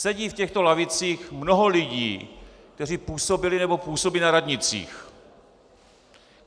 Sedí v těchto lavicích mnoho lidí, kteří působili nebo působí na radnicích.